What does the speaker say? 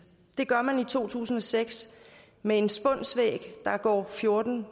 det gør man i to tusind og seks med en spunsvæg der går fjorten